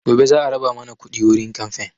Gobe za a raba mana kuɗi wurin kamfen